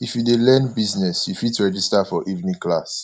if you dey learn business you fit register for evening class